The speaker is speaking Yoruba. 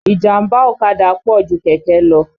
Ìjàmbá ọ̀kadà pọ̀ ju kẹ̀kẹ́ lọ.